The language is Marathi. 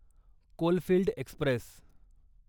coalfield Express